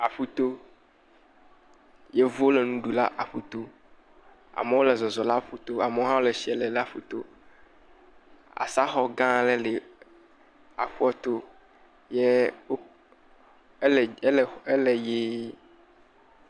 Aƒuto. Yevuwo le aƒuto. Amewo le zɔzɔm le aƒuto. Ame le tsia lem le aƒuto. Asa xɔ gã aɖe le aƒua to ke e e ele ɣie.